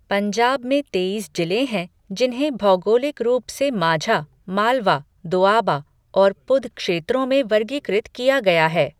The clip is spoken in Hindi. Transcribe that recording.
पंजाब में तेईस जिले हैं जिन्हें भौगोलिक रूप से माझा, मालवा, दोआबा और पुध क्षेत्रों में वर्गीकृत किया गया है।